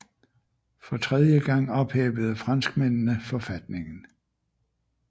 For tredje gang ophævede franskmændene forfatningen